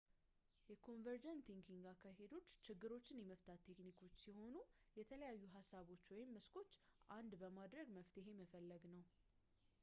የconvergent thinking አካሄዶች ችግሮችን የመፍታት ቴክኒኮች ሲሆኑ የተለያዩ ሀሳቦች ወይም መስኮችን አንድ በማድረግ መፍትሄ መፈለግ ነው